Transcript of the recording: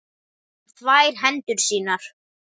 Hann þvær hendur sínar.